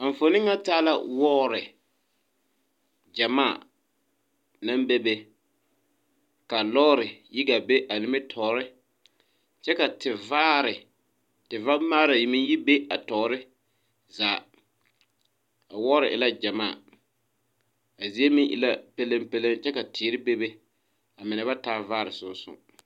A enfuone ŋa taa la wɔɔre gyamaa naŋ bebe ka lɔɔre yi gaa be a nimitoore kyɛ ka te vaare te vamaara meŋ yi be a toore zaa a wɔɔre e la gyamaa a zie meŋ e la pelenpeleŋ kyɛ ka teere bebe a mine ba taa vaare song song.